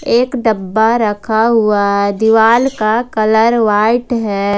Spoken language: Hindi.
एक डब्बा रखा हुआ दीवाल का कलर व्हाइट है।